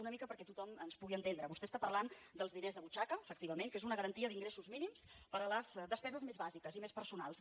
una mica perquè tothom ens pugui entendre vostè està parlant dels diners de butxaca efectivament que és una garantia d’ingressos mínims per a les despeses més bàsiques i més personals